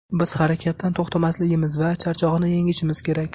Biz harakatdan to‘xtamasligimiz va charchoqni yengishimiz kerak.